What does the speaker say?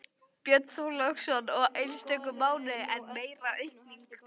Björn Þorláksson: Og í einstökum mánuðum enn meiri aukning?